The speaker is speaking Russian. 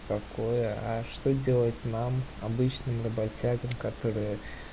какое а что делать нам обычным работягам которые